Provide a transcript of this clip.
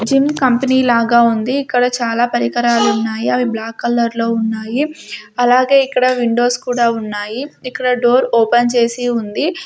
Gym company లాగా ఉంది ఇక్కడ చాలా పరికరాలు ఉన్నాయి అవి బ్లాక్ కలర్లో ఉన్నాయి అలాగే ఇక్కడ విండోస్ కూడా ఉన్నాయి ఇక్కడ డోర్ ఓపెన్ చేసి ఉంది.